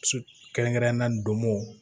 Kɛrɛnkɛrɛnnenya na donmo